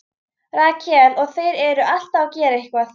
Rakel: Og þeir eru alltaf að gera eitthvað.